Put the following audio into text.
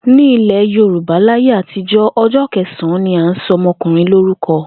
Ní ilè̩ Yorùbá láyé àtijó̩, o̩jó̩ ke̩sàn-án ni a ń so̩ o̩mo̩kùnrin lórúko̩